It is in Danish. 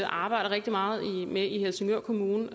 arbejder rigtig meget med i helsingør kommune